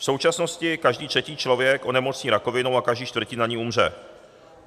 V současnosti každý třetí člověk onemocní rakovinou a každý čtvrtý na ni umře.